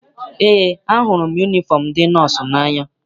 Eé, ahụrụ m yunifọm ndị nọọsụ n'anya.